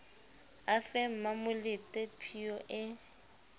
a fe mmamolete phiyo e